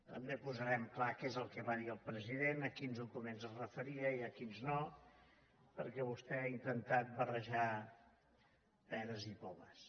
també posarem clar què és el que va dir el president a quins documents es referia i a quins no perquè vostè ha intentat barrejar peres i pomes